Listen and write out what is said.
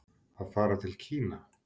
Að fara til Kína?